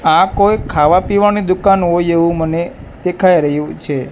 આ કોઈ ખાવા-પીવાની દુકાન હોય એવું મને દેખાય રહ્યું છે.